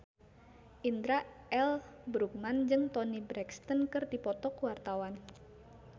Indra L. Bruggman jeung Toni Brexton keur dipoto ku wartawan